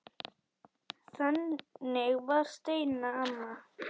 Þannig var Steina amma.